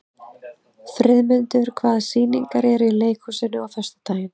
Friðmundur, hvaða sýningar eru í leikhúsinu á föstudaginn?